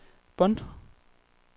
Bonn